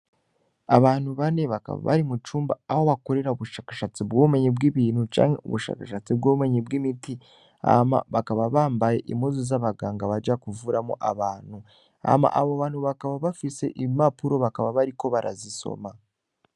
Abantu bane bakaba bari mucumba aho bakorera ubushakashatsi bwubumenyi bw'ibintu canke ubushakashatsi bw'ubumenyi bw'imiti hama bakaba bambaye impuzu zabaganga baja kuvuramwo abantu hama abo bantu bakaba bafise impapuro bakaba bariko barazisoma.